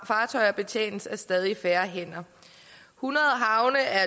fartøjer betjenes af stadig færre hænder hundrede havne er